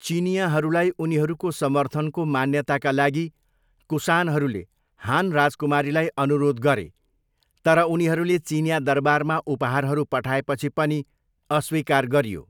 चिनियाँहरूलाई उनीहरूको समर्थनको मान्यताका लागि कुशानहरूले हान राजकुमारीलाई अनुरोध गरे तर उनीहरूले चिनियाँ दरबारमा उपहारहरू पठाएपछि पनि अस्वीकार गरियो।